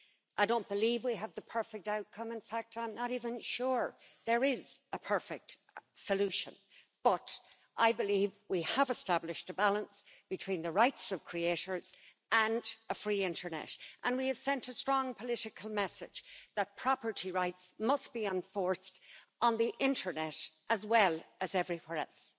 I don't believe we have the perfect outcome, in fact I'm not even sure there is a perfect solution, but I believe we have established a balance between the rights of creators and a free internet, and we have sent a strong political message that property rights must be enforced on the internet as well as everywhere else.